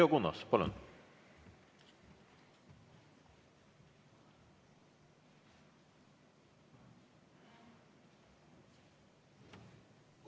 Leo Kunnas, palun!